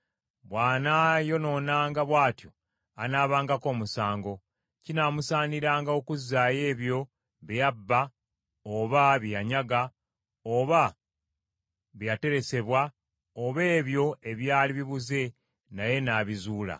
bw’anaayonoonanga bw’atyo anaabangako omusango; kinaamusaaniranga okuzzaayo ebyo bye yabba oba bye yanyaga, oba bye yateresebwa oba ebyo ebyali bibuze naye n’abizuula,